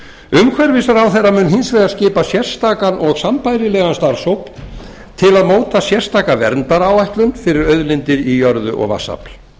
umhverfisráðherra mun hins vegar skipa sérstakan og sambærilegan starfshóp til að móta sérstaka verndaráætlun fyrir auðlindir í jörðu og vatnsafl